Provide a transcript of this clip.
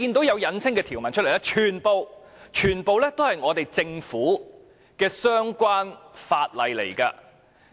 搜尋"引稱"的結果，全部均是政府的法例條文。